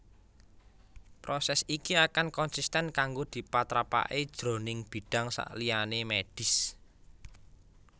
Prosès iki akan konsisten kanggo dipatrapaké jroning bidang saliyané mèdhis